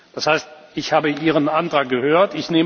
Das heißt, ich habe Ihren Antrag gehört.